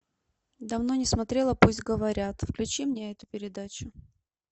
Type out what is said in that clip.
давно не смотрела пусть говорят включи мне эту передачу